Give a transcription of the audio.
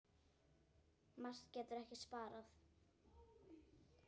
Matur getur ekki sparað.